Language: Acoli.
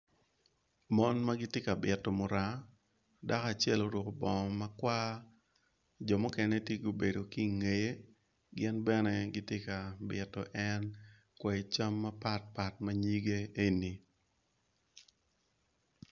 Mon magitye ka bito muranga dako acel oruko bong makwar jo mukene tye gubedo kingeye gin bene gityeka bito en kwai cam mapat pat manyige eni.